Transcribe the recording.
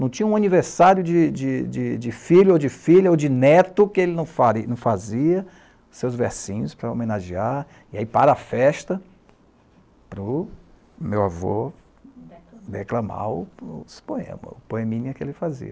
não tinha um aniversário de de de de filho, ou de filha, ou de neto que ele não fale nao fazia, seus versinhos para homenagear, e aí para a festa, para o meu avô reclamar os poemas, o poeminha que ele fazia.